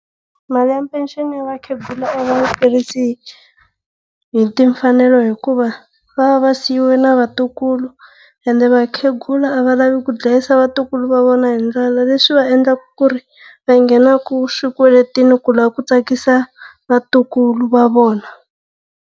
Mali ya peceni ya vakhegula a va yi tirhisi hi timfanelo hikuva va va va siyiwe na vatukulu, ene vakhegula a va lavi ku dlayisa vatukulu va vona hi ndlala leswi va endlaka ku ri va nghenaka swikweletini ku lava ku tsakisa vatukulu va vona.